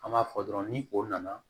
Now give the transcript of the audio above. An b'a fɔ dɔrɔn ni o nana